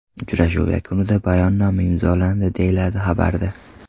Uchrashuv yakunida bayonnoma imzolandi”, deyiladi xabarda.